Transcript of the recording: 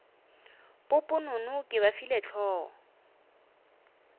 poponono ke ba file hlogo